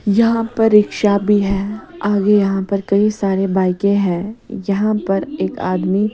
यहां पर रिक्शा भी है आगे यहां पर कई सारे बाइकें हैं यहां पर एक आदमी--